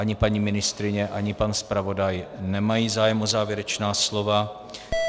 Ani paní ministryně, ani pan zpravodaj nemají zájem o závěrečná slova.